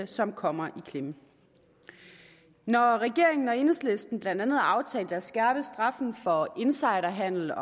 som kommer i klemme når regeringen og enhedslisten blandt andet aftalte at skærpe straffen for insiderhandel